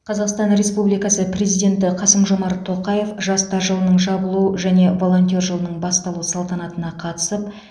қазақстан республикасы президенті қасым жомарт тоқаев жастар жылының жабылу және волонтер жылының басталу салтанатына қатысып